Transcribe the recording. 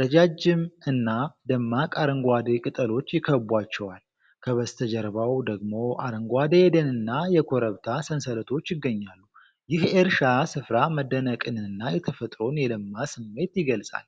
ረጃጅም እና ደማቅ አረንጓዴ ቅጠሎች ይከቧቸዋል። ከበስተጀርባው ደግሞ አረንጓዴ የደንና የኮረብታ ሰንሰለቶች ይገኛሉ። ይህ የእርሻ ስፍራ መደነቅንና የተፈጥሮን የለማ ስሜት ይገልጻል።